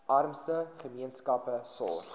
armste gemeenskappe sorg